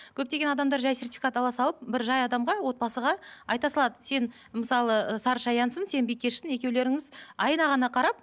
көптеген адамдар жай сертификат ала салып бір жай адамға отбасыға айта салады сен мысалы ы сарышаянсың сен бикешсің екеулеріңіз айына ғана қарап